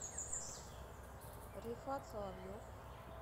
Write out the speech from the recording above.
рифат соловьев